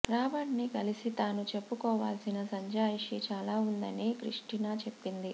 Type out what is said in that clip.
రాబర్ట్ని కలిసి తాను చెప్పుకోవాల్సిన సంజాయిషి చాలా ఉందని క్రిస్టినా చెప్పింది